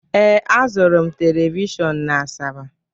Ee, azụrụ m telivishọn na Asaba.